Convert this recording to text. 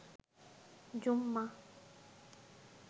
জুম্মা